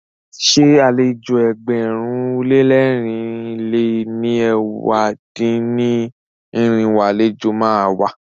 Ṣé àlejò ẹgbẹ̀rún lé lẹ́rìn lé ní ẹ̀wá dín-ní-irinwó àlejò má a wá?